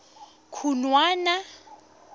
khunwana